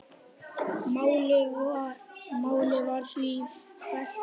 Málið var því fellt niður.